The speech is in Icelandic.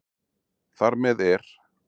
Þar með er